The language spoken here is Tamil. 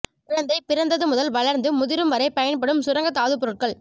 குழந்தை பிறந்தது முதல் வளர்ந்து முதிரும் வரை பயன்படும் சுரங்கத் தாதுப்பொருட்கள்